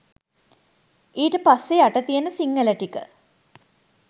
ඊට පස්සෙ යට තියන සිංහල ටික